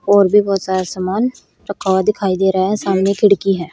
और भी बहोत सारा सामान रखा हुआ दिखाई दे रहा है सामने खिड़की है।